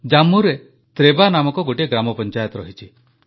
ଜମ୍ମୁରେ ତ୍ରେବା ନାମକ ଗୋଟିଏ ଗ୍ରାମପଞ୍ଚାୟତ ରହିଛି